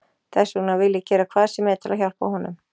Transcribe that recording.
Þess vegna vil ég gera hvað sem er til að hjálpa honum.